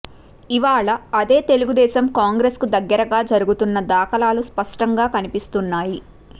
ఇవాళ అదే తెలుగుదేశం కాంగ్రెస్కు దగ్గరగా జరుగుతున్న దాఖలాలు స్పష్టంగా కనిపిస్తున్నాయి